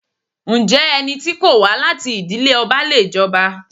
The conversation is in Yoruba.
Ǹjẹ́ ẹni tí kò wá láti ìdílé ọba le jọba?